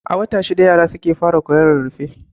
A wata shida yara suke fara koyon rarrafe.